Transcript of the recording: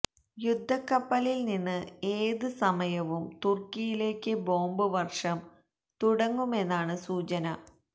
യുദ്ധക്കപ്പലിൽ നിന്ന് ഏത് സമയവും തുർക്കിയിലേക്ക് ബോംബ് വർഷം തുടങ്ങുമെന്നാണ് സൂചന